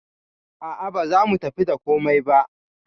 A'a baza mu tafi da komai ba.